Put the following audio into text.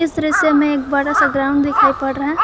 दृश्य में एक बड़ा सा ग्राउंड दिखाई पड़ रहा--